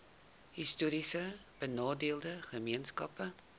histories benadeelde gemeenskappe